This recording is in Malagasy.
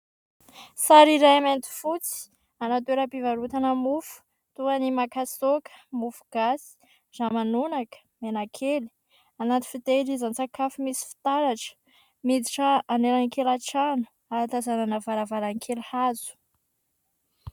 Sary iray mainty fotsy. Anaty toeram-pivarotana mofo toa ny : makasaoka, mofo gasy, ramanonaka, menakely ; anaty fitahirizan-tsakafo misy fitaratra ; miditra anelakelan-trano, ahatazanana varavarankely hazo.